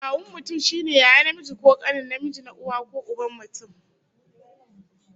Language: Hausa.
Kawun mutum shine yaya namiji ko kane namiji, na uwa ko uban mutum